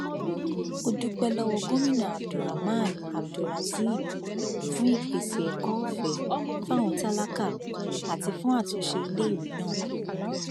ó dúpẹ lọwọ gomina abdulrahman abdulrazib fún ìpèsè ẹkọ ọfẹ fáwọn tálákà àti fún àtúnṣe iléèwé náà